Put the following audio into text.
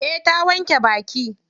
Eh ta wanke baki.